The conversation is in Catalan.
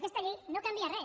aquesta llei no canvia res